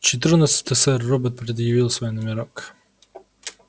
четырнадцатый сэр робот предъявил свой номерок